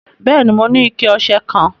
Bẹẹni, mò ní ìkẹ̀-ọṣẹ kan.